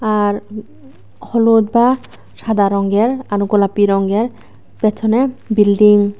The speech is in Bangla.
আর হলুদ বা সাদা রঙ্গের আর গোলাপী রঙ্গের পেছনে বিল্ডিং ।